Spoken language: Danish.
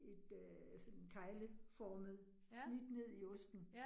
Et øh sådan kegleformet snit ned i osten